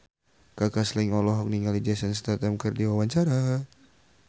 Kaka Slank olohok ningali Jason Statham keur diwawancara